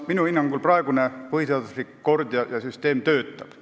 Minu hinnangul praegune põhiseaduslik kord toimib.